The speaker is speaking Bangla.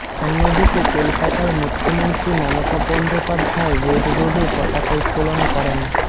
অন্যদিকে কলকাতায় মুখ্যমন্ত্রী মমতা বন্দোপাধ্যায় রেড রোডে পতাকা উত্তোলন করেন